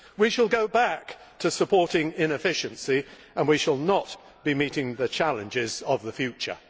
we shall go back to supporting inefficiency, and we shall not be meeting the challenges of the future.